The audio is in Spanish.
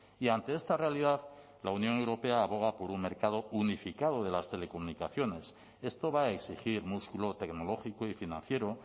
y ante esta realidad la unión europea aboga por un mercado unificado de las telecomunicaciones esto va a exigir músculo tecnológico y financiero